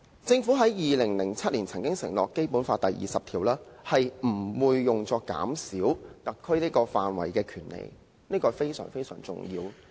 政府在2007年曾經承諾，《基本法》第二十條不會削減特區範圍的權利，這是相當重要的。